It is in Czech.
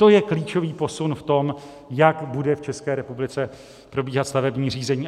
To je klíčový posun v tom, jak bude v ČR probíhat stavební řízení.